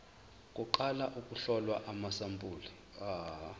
kuqala ukuhlolwa kwamasampuli